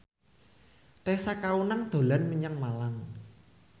Tessa Kaunang dolan menyang Malang